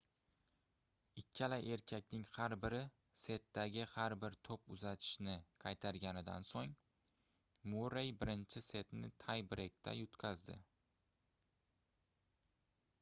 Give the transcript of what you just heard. ikkala erkakning har biri setdagi har bir toʻp uzatishni qaytarganidan soʻng murrey birinchi setni tay-breykda yutqazdi